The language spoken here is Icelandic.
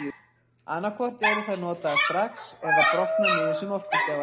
Annað hvort eru þær notaðar strax eða brotna niður sem orkugjafar.